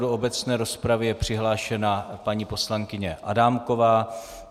Do obecné rozpravy je přihlášena paní poslankyně Adámková.